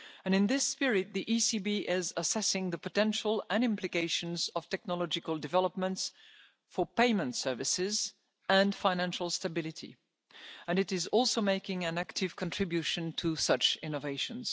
can. In this spirit, the ECB is assessing the potential and implications of technological developments for payment services and financial stability, and it is also making an active contribution to such innovations.